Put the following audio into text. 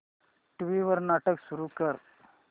TV वर नाटक सुरू कर